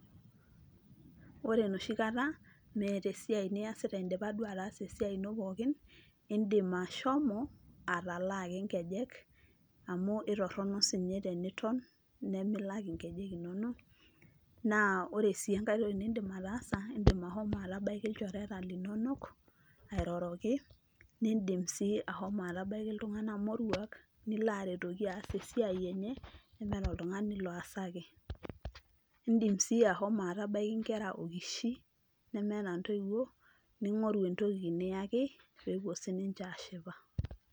ore enoshi kata meeta esiai niasita, idipa duo ataasa esiai ino pookin, idim ashomo atalaa ake nkejek. amu itorono si ninye teniton, nimilak inkejek inonok. naa ore si enkae toki nidim ataasa, idim ashomo atabaiki ilchoreta linonok, airoroki, nidim sii ashomo atabaiki iltunganak moruak, nilo aretoki aas esiai enye, nemeeta oltungani loosaki. idim sii ashomo atabaiki nkera okishi nemeeta intoiwuo, ningoru entoki niyaki, pee epuo sii ninche aashipa.